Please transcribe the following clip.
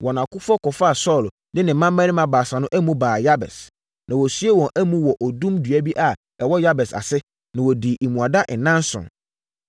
wɔn akofoɔ kɔfaa Saulo ne ne mmammarima baasa no amu baa Yabes. Na wɔsiee wɔn amu wɔ odum dua bi a ɛwɔ Yabes ase, na wɔdii mmuada nnanson.